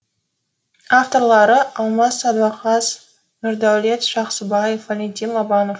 авторлары алмас садуақас нұрдәулет жақсыбаев валентин лобанов